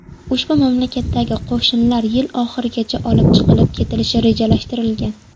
Ushbu mamlakatdagi qo‘shinlar yil oxirigacha olib chiqib ketilishi rejalashtirilgan.